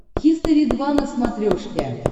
хистори два на смотрешке